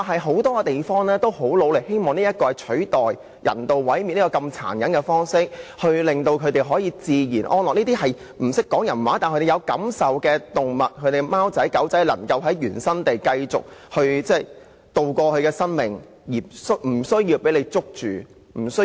很多地方均很努力地推行這計劃，希望能取代人道毀滅這麼殘忍的方式，令動物能自然安樂地生活，讓這些不懂人語卻有感受的動物，例如貓狗能夠在原生地過活，而不會被署方捕捉殺死。